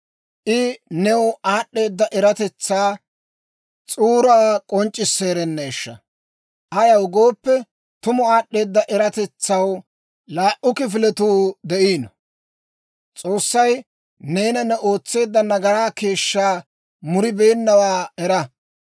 I new aad'd'eeda eratetsaa s'uuraa k'onc'c'isseerenneeshsha! Ayaw gooppe, tumu aad'd'eeda eratetsaw laa"u kifiletuu de'iino. S'oossay neena ne ootseedda nagaraa keeshshaa muribeennawaa era.